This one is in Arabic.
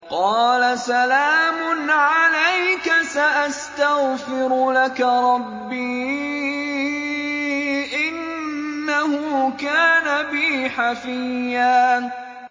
قَالَ سَلَامٌ عَلَيْكَ ۖ سَأَسْتَغْفِرُ لَكَ رَبِّي ۖ إِنَّهُ كَانَ بِي حَفِيًّا